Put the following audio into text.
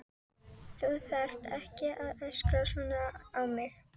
Þú þarft ekki að öskra svona á mig.